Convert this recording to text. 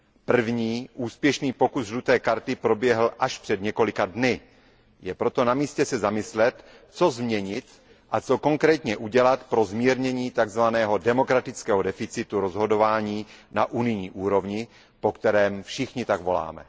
První, úspěšný pokus žluté karty proběhl až před několika dny. Je proto namístě se zamyslet, co změnit a co konkrétně udělat pro zmírnění tzv. demokratického deficitu rozhodování na unijní úrovni, po kterém všichni tak voláme.